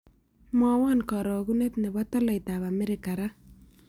Mwawon karogunet ne po tolaitap amerika raa